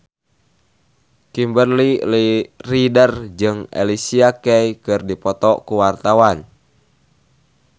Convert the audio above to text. Kimberly Ryder jeung Alicia Keys keur dipoto ku wartawan